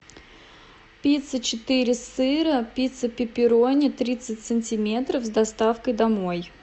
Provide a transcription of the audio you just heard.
пицца четыре сыра пицца пепперони тридцать сантиметров с доставкой домой